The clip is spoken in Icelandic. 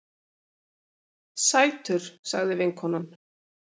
Sætur, sagði vinkonan.